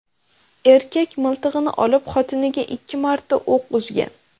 Erkak miltig‘ini olib, xotiniga ikki marta o‘q uzgan.